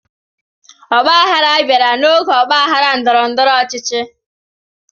Ọgba aghara bịara n'oge ọgba aghara ndọrọ-ndọrọ ọchịchị.